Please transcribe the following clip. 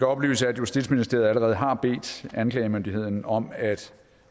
oplyse at justitsministeriet allerede har bedt anklagemyndigheden om at